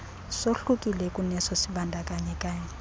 sohlukile kuneso sibandakanyekayo